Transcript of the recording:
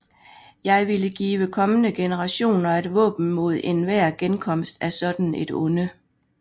Jeg ville give kommende generationer et våben mod enhver genkomst af sådant et onde